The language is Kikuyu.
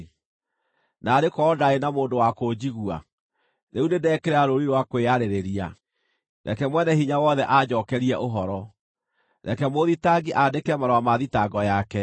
(“Naarĩ korwo ndaarĩ na mũndũ wa kũnjigua! Rĩu nĩndekĩra rũũri rwa kwĩyarĩrĩria: reke Mwene-Hinya-Wothe anjookerie ũhoro; reke mũũthitangi andĩke marũa ma thitango yake.